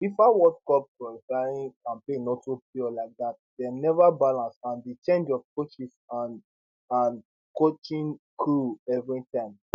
fifa world cup qualifying campaign no too pure like dat dem neva balance and di change of coaches and and coaching crew evritime